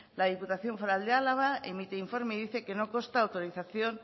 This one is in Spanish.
la diputación foral del álava emite informe y dice que no consta autorización